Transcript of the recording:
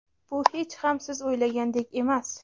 Bu hech ham siz o‘ylagandek emas.